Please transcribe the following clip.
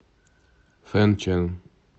фэнчэн